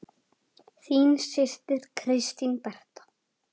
Þín systir, Kristín Berta.